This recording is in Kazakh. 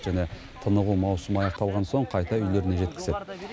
және тынығу маусымы аяқталған соң қайта үйлеріне жеткізеді